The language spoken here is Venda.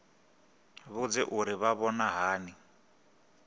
vhudze uri vha vhona hani